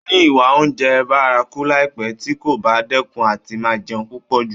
Ó máa ní ìwà oúnjẹ bárakú láìpé tí kò bá dẹ́kun àti máa jẹun púpọ̀ jù.